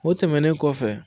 O tɛmɛnen kɔfɛ